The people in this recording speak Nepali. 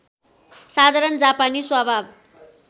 साधारण जापानी स्वभाव